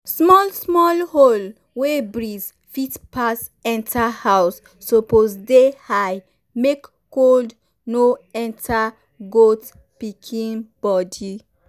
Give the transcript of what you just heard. small small hole wey breeze fit pass enter house suppose dey high make cold no enter goat pikin body.